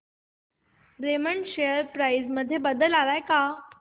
Raymond share price मध्ये बदल आलाय का